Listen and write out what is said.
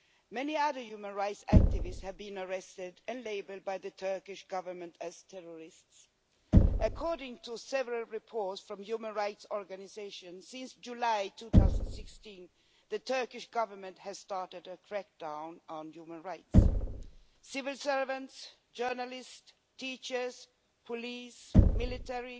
Many other human rights activists have been arrested and labelled by the Turkish Government as terrorists. According to several reports from human rights organisations, since July 2016 the Turkish Government has started a crack-down on human rights. Civil servants, journalists, teachers, police, military,